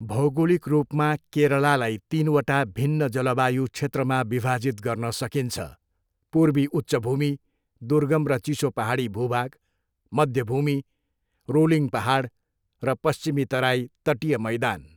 भौगोलिक रूपमा, केरलालाई तिनवटा भिन्न जलवायु क्षेत्रमा विभाजित गर्न सकिन्छ, पूर्वी उच्च भूमि, दुर्गम र चिसो पाहाडी भूभाग, मध्य भूमि, रोलिङ पाहाड र पश्चिमी तराई, तटीय मैदान।